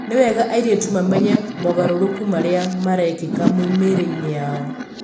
Nĩ wega airĩtu mamenye mogarũrũku marĩa marekĩka mĩĩrĩ-inĩ yao.